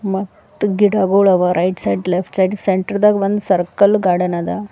ಮತ್ ಗಿಡಗುಳವ right side left side centre ದಾಗ್ ಒಂದ್ ಸರ್ಕಲ್ ಗಾರ್ಡನ್ ಅದ.